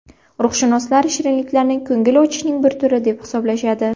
Ruhshunoslar shirinliklarni ko‘ngil ochishning bir turi deb hisoblashadi.